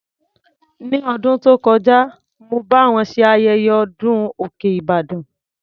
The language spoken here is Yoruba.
Ní ọdún tó kọjá, mo bá wọn ṣe ayẹyẹ ọdún òkè Ìbàdàn.